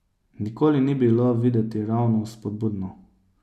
Nikoli ni bilo videti ravno vzpodbudno.